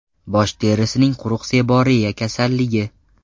Bosh terisining quruq seboreya kasalligi.